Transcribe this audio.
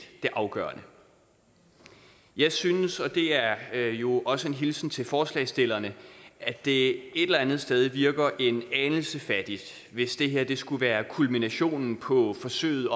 det afgørende jeg synes og det er jo også en hilsen til forslagsstillerne at det et eller andet sted virker en anelse fattigt hvis det her skulle være kulminationen på forsøget